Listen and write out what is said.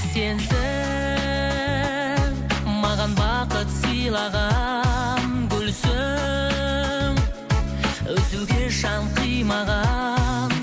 сенсің маған бақыт сыйлаған гүлсің үзуге жан қимаған